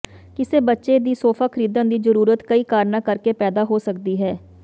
ਕਿਸੇ ਬੱਚੇ ਦੀ ਸੋਫਾ ਖਰੀਦਣ ਦੀ ਜ਼ਰੂਰਤ ਕਈ ਕਾਰਨਾਂ ਕਰਕੇ ਪੈਦਾ ਹੋ ਸਕਦੀ ਹੈ